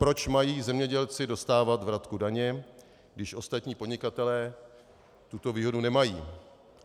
Proč mají zemědělci dostávat vratku daně, když ostatní podnikatelé tuto výhodu nemají?